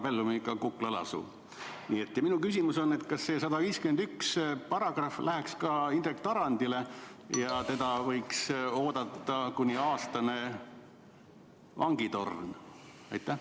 Minu küsimus on järgmine: kas § 151 läheks ka Indrek Tarandi kohta ja teda võiks oodata kuni aastane vangitorn?